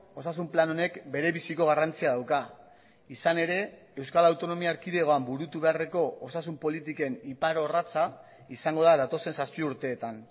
osasun plan honek bere biziko garrantzia dauka izan ere euskal autonomia erkidegoan burutu beharreko osasun politiken iparorratza izango da datozen zazpi urteetan